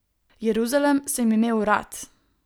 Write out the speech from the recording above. Jeruzalem sem imel rad.